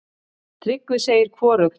Tryggvi segir hvorugt.